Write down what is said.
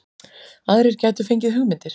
Aðrir gætu fengið hugmyndir